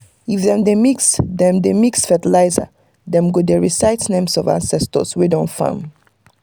if dem dey mix dem dey mix fertilizer dem go dey recite names of ancestors wey don farm